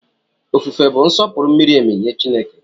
Ofufe bụ nsọpụrụ miri emi nye Chineke.